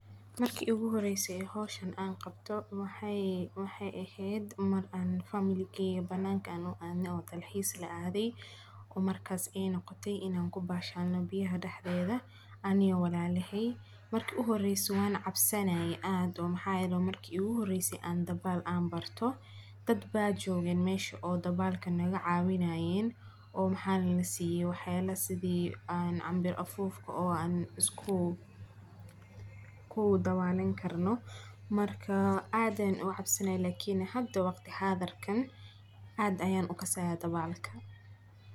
Marki iigu horeyse howshan aan qabto wahay, maxay ehed mar an family an banaka aan u adne oo dalxisa laadey, oo markay ay nogotay in an kubashalno beya daxdeda, ani iyo walalahey, marki uxoreyse wan cabsanaye aad oo maxa yele wa marki iguhoreyse aan dabaal an barto, dad baa jogen mesha oo dabalka lagacawinayen, oo maxa lalasiye wax yala sidhi aan canbiir afuufka oo an iskudawalan karno, Marka aad an ucabsanay Lakini hada wagti hadirkan, aad ayaan ukasaya dabalka.